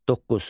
Doqquz.